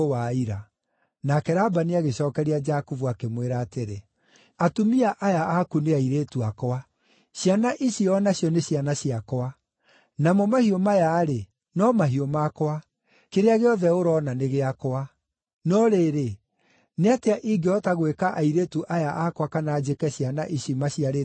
Nake Labani agĩcookeria Jakubu, akĩmwĩra atĩrĩ, “Atumia aya aku nĩ airĩtu akwa, ciana ici o nacio nĩ ciana ciakwa, namo mahiũ maya-rĩ, no mahiũ makwa. Kĩrĩa gĩothe ũroona nĩ gĩakwa. No rĩrĩ, nĩ atĩa ingĩhota gwĩka airĩtu aya akwa kana njĩke ciana ici maciarĩte ũmũthĩ?